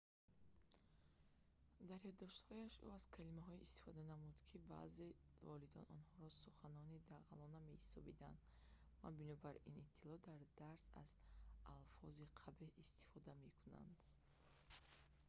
дар ёддоштҳояш ӯ аз калимаҳое истифода намуд ки баъзеи волидон онҳоро суханони дағалона меҳисобиданд ва бино ба иттилоъ дар дарс аз алфози қабеҳ истифода мекарданд